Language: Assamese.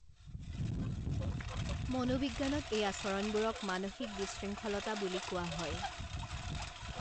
মনোবিজ্ঞানত এই আচৰণবোৰক মানসিক বিশৃংঙ্খলতা বুলি কোৱা হয়।